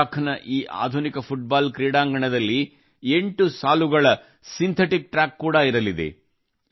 ಲಡಾಖ್ ನ ಈ ಆಧುನಿಕ ಫುಟ್ಬಾಲ್ ಕ್ರೀಡಾಂಗಣದಲ್ಲಿ 8 ಸಾಲುಗಳ ಸಿಂಥೆಟಿಕ್ ಟ್ರ್ಯಾಕ್ ಕೂಡಾ ಇರಲಿದೆ